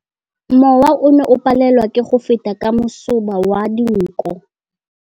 Mowa o ne o palelwa ke go feta ka masoba a dinko.